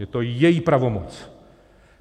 Je to její pravomoc.